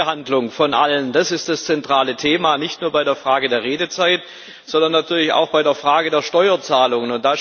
Die Gleichbehandlung von allen, das ist das zentrale Thema, nicht nur bei der Frage der Redezeit, sondern natürlich auch bei der Frage der Steuerzahlungen.